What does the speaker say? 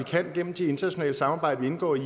gennem de internationale samarbejder vi indgår i